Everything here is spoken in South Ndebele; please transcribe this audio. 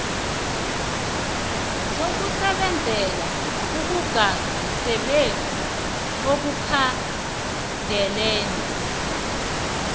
zokusebenzela akukasebenzi ekukhandeleni